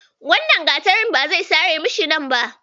Wannan gatarin ba zai sare bishiyar nan ba.